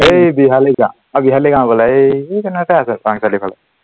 এই বিহালী গাওঁ, অ বিহালী গাওঁ বোলে এৰ এই কণতে আছে চাঙচালি ফালে